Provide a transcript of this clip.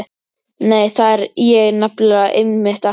Nei, það er ég nefnilega einmitt ekki.